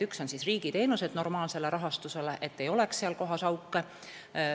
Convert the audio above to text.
Üks on see, et riigiteenused oleks normaalse rahastusega, seal ei oleks auke.